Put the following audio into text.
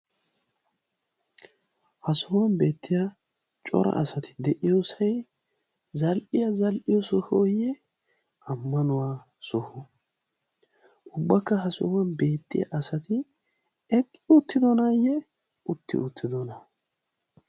ha sohuwan beettiya cora asati de'iyoosai zal'iya za'iyo sohooyye ammanuwaa soho ubbakka ha sohuwan beettiya asati eqqi uttidonaayye utti uttidona?